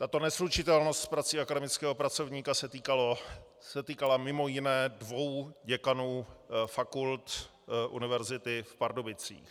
Tato neslučitelnost s prací akademického pracovníka se týkala mimo jiné dvou děkanů fakult Univerzity v Pardubicích.